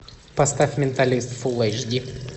поставь менталист фул эйч ди